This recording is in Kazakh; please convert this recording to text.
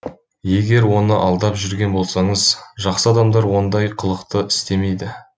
егер оны алдап жүрген болсаңыз жақсы адамдар ондай қылықты істемейді